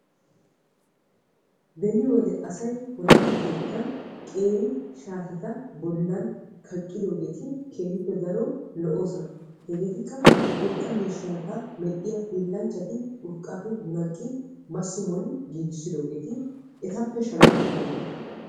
Beni wode asay wolaytta keettan qeeri shaateta bollan kaqqidoogeeti keehippe daro lo"ossona. Jegeetikka urqqaa miishshati urqqata medhdhiya hiillanchcati urqqappe medhdhi massi moli giigissidoogeeti etappe shamettidaageeta.